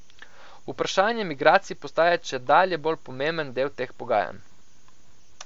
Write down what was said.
Vprašanje migracij postaja čedalje bolj pomemben del teh pogajanj.